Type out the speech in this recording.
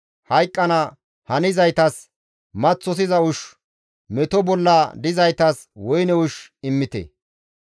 Hayqqana hanizaytas maththosiza ushshu meto bolla dizaytas woyne ushshu immite.